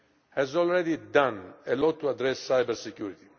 has already done a lot to address cybersecurity.